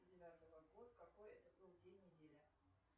девятого год какой это был день недели